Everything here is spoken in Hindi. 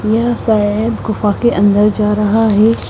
यह शायद गुफा के अन्दर जा रहा है।